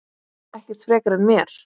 Ekkert frekar en mér.